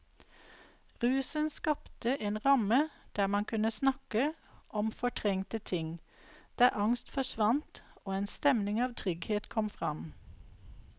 Rusen skapte en ramme der man kunne snakke om fortrengte ting, der angst forsvant og en stemning av trygghet kom fram.